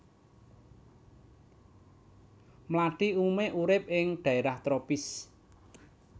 Mlathi umumé urip ing dhaérah tropis